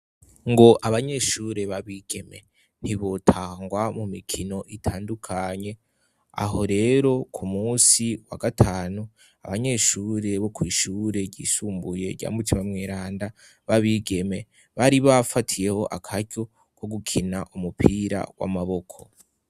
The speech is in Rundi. Ngo abanyeshure b'abigeme ntibotangwa mu mikino itandukanye ,aho rero ku munsi wa gatanu ,abanyeshure bo kwishure ryisumbuye rya mutima mweranda ,babigeme bari bafatiyeho akaryo ko gukina umupira w'amaboko.